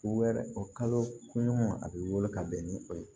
Wɛrɛ o kaloɲɔgɔn a bɛ wolo ka bɛn ni o ye